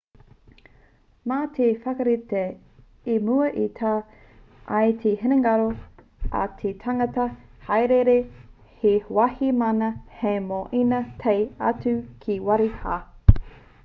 mā te whakarite i mua e tau ai te hinengaro a te tangata hāereere he wāhi māna hei moe ina tae atu ki te wāhi rā